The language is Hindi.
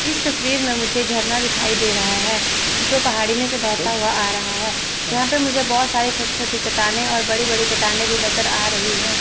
इस तस्वीर में मुझे झरना दिखाई दे रहा है जो पहाड़ी में से बहता हुआ आ रहा है यहां पे मुझे बहुत सारे छोटी छोटी चट्टानें और बड़ी बड़ी चट्टानें भी नजर आ रही हैं।